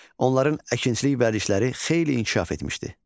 Onların əkinçilik vərdişləri xeyli inkişaf etmişdi.